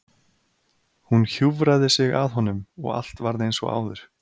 Hún hjúfraði sig að honum og allt varð eins og áður.